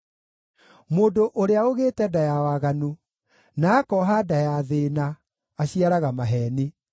Mũndũ ũrĩa ũgĩte nda ya waganu, na akooha nda ya thĩĩna, aciaraga maheeni.